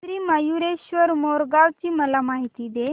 श्री मयूरेश्वर मोरगाव ची मला माहिती दे